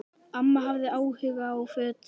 Amma hafði áhuga á fötum.